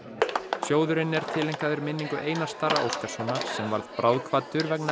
sjóðurinn er tileinkaður minningu Einars Darra Óskarssonar sem varð bráðkvaddur vegna